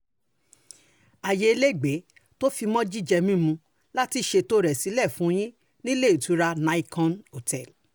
ààyè ilégbèé tó fi mọ́ jíjẹ mímu la ti ṣètò sílẹ̀ fún yín nílé ìtura nicon hotel